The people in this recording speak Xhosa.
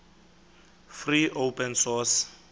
free open source